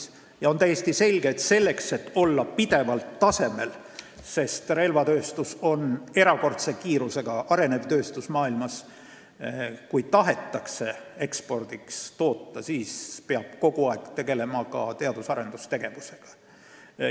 Ja seegi on täiesti selge, et selleks, et olla pidevalt tasemel – relvatööstus on maailmas erakordse kiirusega arenev tööstus –, ja kui tahetakse toota ekspordiks, peab kogu aeg tegelema ka teadus- ja arendustegevusega.